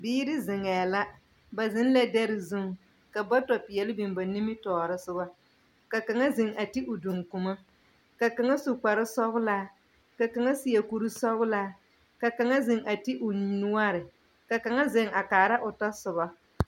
Biiri zeŋɛɛ la, ba zeŋ la dɛre zuŋ, ka bɔtɔ peɛle biŋ ba nimitɔɔre soga. Ka kaŋa zeŋ a ti o duŋkuma. Ka kaŋa su kpar sɔglaa, ka kaŋa seɛ kursɔglaa, ka kaŋa zeŋ a ti o ni nnoɔre, ka kaŋa zeŋ a kaara o tɔsoba.